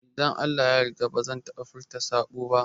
Idan Allah ya yarda bazan taɓa furta saɓo ba